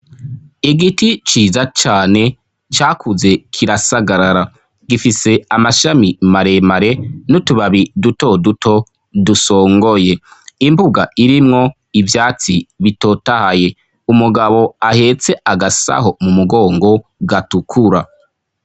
Igiti ciza cane cakuze kirasagarara, gifise amashami maremare n'utubabi duto duto dusongoye, imbuga irimwo ivyatsi bitotahaye umugabo ahetse agasaho mu mugongo gatukura.